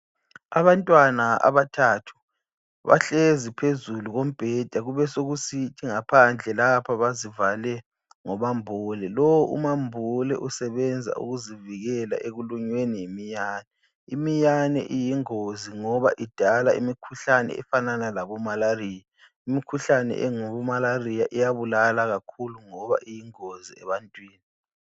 Abantwana abathathu bahlezi phezulu kombheda kubesokusithi ngaphandle lapha bazivale ngomambule. Lowu umambule usebenza ukuzivikela ekulunyweni yimiyane. Imiyane iyingozi ngoba idala imikhuhlane efanana labomalariya. Imikhuhlane engabomalariya iyabulala kakhulu ngoba iyingozi ebantwini.